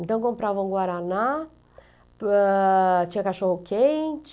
Então, comprava um guaraná, ah... Tinha cachorro-quente...